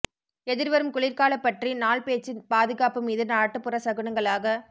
எதிர்வரும் குளிர்கால பற்றி நாள் பேச்சு பாதுகாப்பு மீது நாட்டுப்புற சகுனங்களாகக்